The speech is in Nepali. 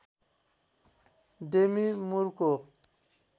डेमी मुरको